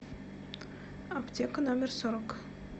аптека номер сорок